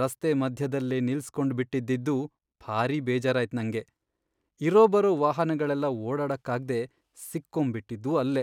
ರಸ್ತೆ ಮಧ್ಯದಲ್ಲೇ ನಿಲ್ಸ್ಕೊಂಡ್ಬಿಟ್ಟಿದ್ದಿದ್ದು ಭಾರಿ ಬೇಜಾರಾಯ್ತ್ ನಂಗೆ. ಇರೋ ಬರೋ ವಾಹನಗಳೆಲ್ಲ ಓಡಾಡಕ್ಕಾಗ್ದೆ ಸಿಕ್ಕೊಂಬಿಟ್ಟಿದ್ವು ಅಲ್ಲೇ.